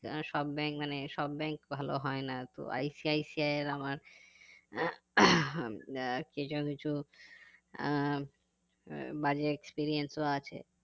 আহ সব bank মানে সব bank ভালো হয় না তো ICICI এর আমার আহ কিছু কিছু আহ বাজে experience ও আছে